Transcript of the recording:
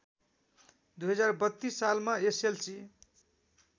२०३२ सालमा एसएलसी